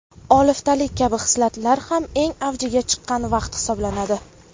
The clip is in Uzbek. oliftalik kabi hislatlar ham eng avjiga chiqqan vaqt hisoblanadi.